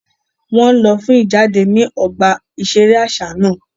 Wọn nlọ fún ijade ni ọgbà iṣere aṣa náà